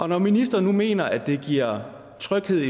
når ministeren nu mener at det giver tryghed